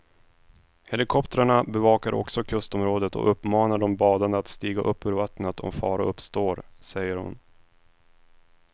Helikoptrarna bevakar också kustområdet och uppmanar de badande att stiga upp ur vattnet om fara uppstår, säger hon.